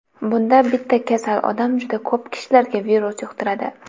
Bunda bitta kasal odam juda ko‘p kishilarga virus yuqtiradi.